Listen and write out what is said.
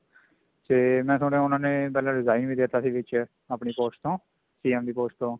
ਤੇ ਮੈਂ ਸੁਣਿਆ ਉਹਨਾ ਨੇ ਪਹਿਲਾਂ resign ਦੇਤਾ ਸੀ ਵਿੱਚ ਆਪਣੀ post ਤੋਂ CM ਦੀ post ਤੋਂ